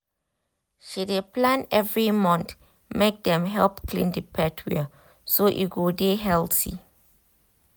she dey plan every month make dem help clean the pet well so e go dey healthy